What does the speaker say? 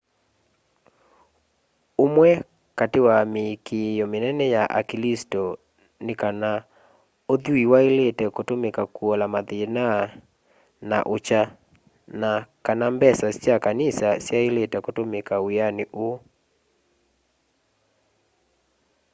ũmwe katĩ wa mĩĩkĩo mĩnene ya aklĩsto nĩ kana ũthwĩĩ waĩlĩte kũtũmĩka kũola mathĩna na ũkya na kana mbesa sya kanĩsa syaĩlĩte kũtũmĩka wĩanĩ ũũ